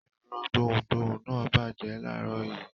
Ẹ̀rọ gbohùngbohùn náà bàjẹ́ láàárọ̀ yìí.